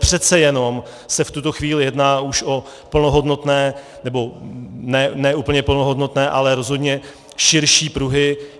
Přece jenom se v tuto chvíli jedná už o plnohodnotné, nebo ne úplně plnohodnotné, ale rozhodně širší pruhy.